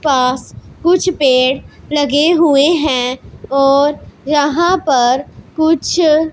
पास कुछ पेड़ लगे हुए हैं और यहां पर कुछ--